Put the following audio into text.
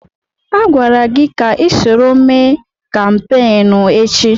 Agwara gị ka isoro mee kampeenụ́ echi!